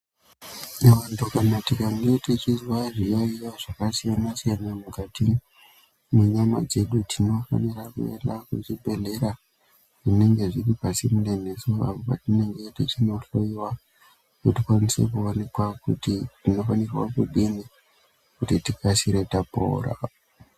Vantu kana tikange tichizwa zviyaiyo zvakasiyana-siyana mukati, mwenyama dzedu, tinofanira kuenda kuchibhedhlera zvinenge zviri pasinde nesu tapora.